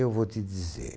Eu vou te dizer.